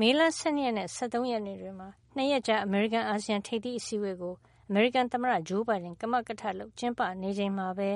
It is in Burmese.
မေလ ၁၂ ရက်နဲ့ ၁၃ ရက်နေ့ တွေမှာ ၂ ရက်ကြာ အမေရိကန် - အာဆီယံ ထိပ်သီး အစည်းဝေးကို အမေရိကန် သမ္မတဂျိုးဘိုင်ဒန်က ကမကထလုပ် ကျင်းပေးနေချိန်မှာပဲ